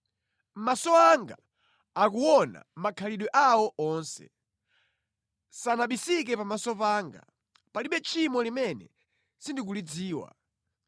Maso anga akuona makhalidwe awo onse; sanabisike pamaso panga. Palibe tchimo limene sindikulidziwa.